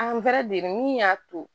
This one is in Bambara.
min y'a to